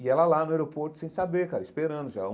E ela lá no aeroporto sem saber cara, esperando já.